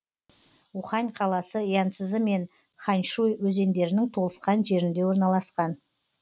ухань қаласы янцзы мен ханьшуй өзеніндерінің толысқан жерінде орналасқан